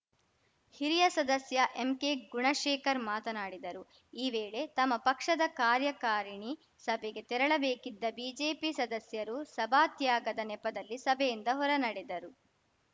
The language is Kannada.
ಹಿರಿಯ ಸದಸ್ಯ ಎಂಕೆಗುಣಶೇಖರ್‌ ಮಾತನಾಡಿದರು ಈ ವೇಳೆ ತಮ್ಮ ಪಕ್ಷದ ಕಾರ್ಯಕಾರಿಣಿ ಸಭೆಗೆ ತೆರಳಬೇಕಿದ್ದ ಬಿಜೆಪಿ ಸದಸ್ಯರು ಸಭಾತ್ಯಾಗದ ನೆಪದಲ್ಲಿ ಸಭೆಯಿಂದ ಹೊರನಡೆದರು